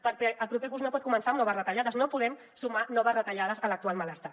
perquè el proper curs no pot començar amb noves retallades no podem sumar noves retallades a l’actual malestar